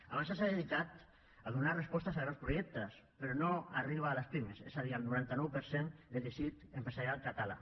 avançsa s’ha dedicat a donar respostes a grans projectes però no arriba a les pimes és a dir al noranta nou per cent del teixit empresarial català